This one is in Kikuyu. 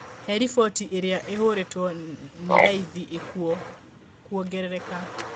He rĩboti ĩrĩa ĩhũrĩto nĩ raithi ikũo kwogerereka